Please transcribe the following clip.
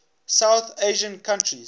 south asian countries